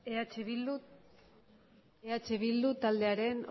eh bildu taldearen